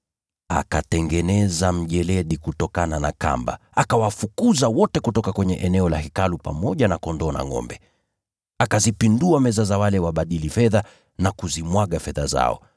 Akatengeneza mjeledi kutokana na kamba, akawafukuza wote kutoka kwenye eneo la Hekalu, pamoja na kondoo na ngʼombe. Akazipindua meza za wale wabadili fedha na kuzimwaga fedha zao.